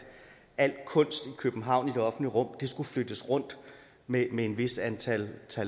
al kunst i københavn i det offentlige rum skulle flyttes rundt med med et vist antal